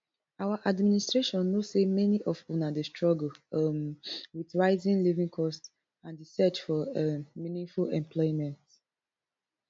our administration know say many of una dey struggle um with rising living costs and di search for um meaningful employment